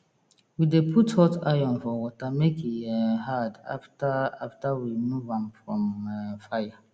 we dey put hot iron for water make e um hard after after we rmove am from um fire